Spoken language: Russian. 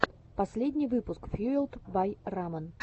последний выпуск фьюэлд бай рамэн